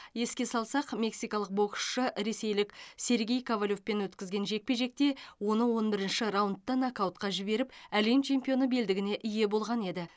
еске салсақ мексикалық боксшы ресейлік сергей ковалевпен өткізген жекпе жекте оны он бірінші раундта нокаутқа жіберіп әлем чемпионы белдігіне ие болған еді